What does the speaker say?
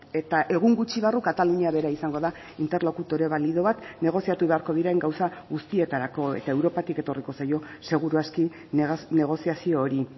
eta egun gutxi barru katalunia bera izango da interlokutore balido bat negoziatu beharko diren gauza guztietarako eta europatik etorriko zaio seguru aski negoziazio hori